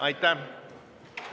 Aitäh!